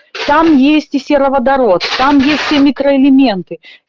там есть и сероводород там есть все микроэлементы